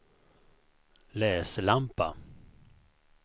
läslampa